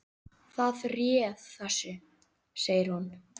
Það réð þessu, segir hún.